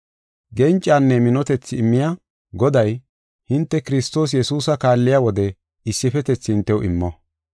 Gencanne minotethi immiya Goday hinte Kiristoos Yesuusa kaalliya wode issifetethi hintew immo.